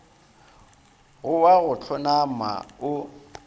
go wa go hlonama o